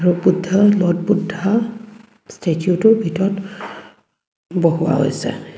Lord Buddha Lord Buddha ষ্টেচুটো ভিতৰত বহোৱা হৈছে।